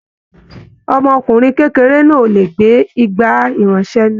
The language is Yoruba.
Ọmọkùnrin kékeré náà o lè gbé igbá irinṣẹ náà.